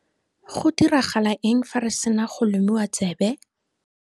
Go diragala eng fa re sena go lomiwa tsebe?